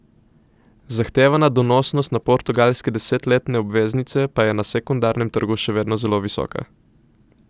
Zahtevana donosnost na portugalske desetletne obveznice pa je na sekundarnem trgu še vedno zelo visoka.